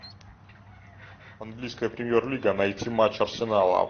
английская премьер лига найти матч арсенала